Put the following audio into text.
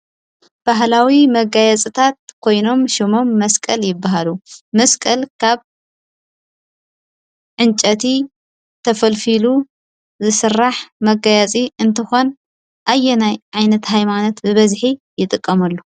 ባህላዊ መጋየፅታት ኮይኖም ሽሞም መስቀል ይበሃሉ። መስቀል ካብ ዕንጨቲ ተፈልፊሉ ዝስራሕ መጋየፂ እንትኾን ኣየናይ ዓይነት ሃይማኖት ብበዝሒ ይጥቀመሉ?